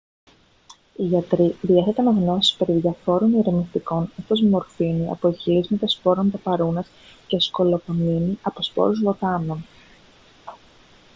οι γιατροί διέθεταν γνώσεις περί διαφόρων ηρεμιστικών όπως μορφίνη από εκχυλίσματα σπόρων παπαρούνας και σκολοπαμίνη από σπόρους βοτάνων